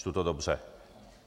Čtu to dobře.